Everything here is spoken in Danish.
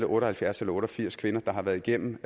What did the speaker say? og halvfjerds eller otte og firs kvinder der har været igennem